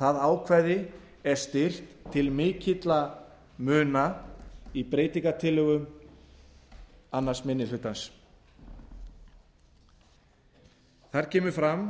það ákvæði er styrkt til mikilla muna í breytingartillögum annar minni hluta þar kemur fram